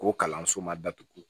O kalanso ma datugu